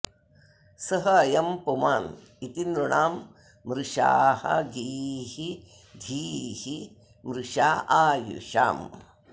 सः अयं पुमान् इति नृणां मृषाः गीः धीः मृषा आयुषाम्